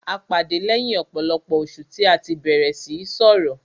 A pàdé lẹ́yìn ọ̀pọ̀lọpọ̀ oṣù tí a tí bẹ̀rẹ̀ síí sọrọ̀.